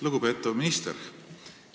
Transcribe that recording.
Lugupeetav minister!